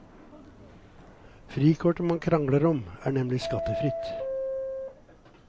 Frikortet man krangler om er nemlig skattefritt.